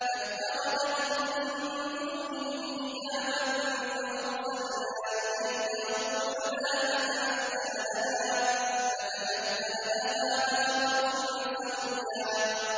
فَاتَّخَذَتْ مِن دُونِهِمْ حِجَابًا فَأَرْسَلْنَا إِلَيْهَا رُوحَنَا فَتَمَثَّلَ لَهَا بَشَرًا سَوِيًّا